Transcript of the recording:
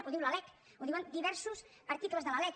ho diu la lec ho diuen diversos articles de la lec